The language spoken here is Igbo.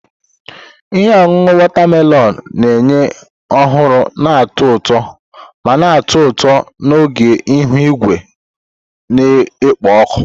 Ihe ọṅụṅụ watermelon na-enye nhọrọ na-atọ ụtọ ma na-atọ ụtọ n'oge ihu igwe na-ekpo ọkụ.